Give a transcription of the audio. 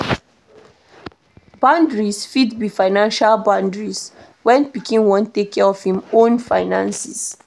Boundaries fit be financial boundaries, when pikin wan take care of im own finances